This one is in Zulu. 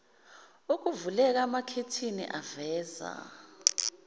kuvuleka amakhethini aveza